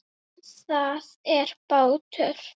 Það er bátur.